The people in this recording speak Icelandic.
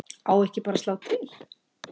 Á ekki bara að slá til?